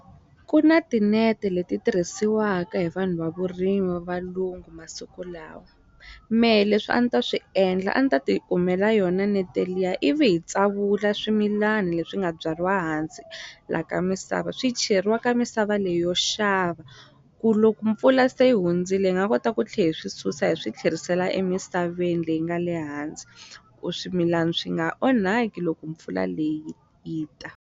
Ku na tinete leti tirhisiwaka hi vanhu va vurimi va valungu masiku lawa mehe leswi a ni ta swi endla a ni ta ti kumela yona nete liya ivi hi tsavula swimilani leswi nga byariwa hansi la ka misava swi cheriwa ka misava leyi yo xava ku loko mpfula se hundzile hi nga kota ku tlhe hi swi susa hi swi tlherisela emisaveni leyi nga le hansi ku swimilani swi nga onhaki loko mpfula leyi yi ta.